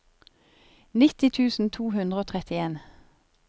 nitti tusen to hundre og trettien